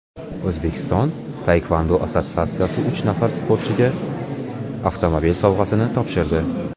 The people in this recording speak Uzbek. O‘zbekiston taekvondo assotsiyatsiyasi uch nafar sportchiga avtomobil sovg‘asini topshirdi.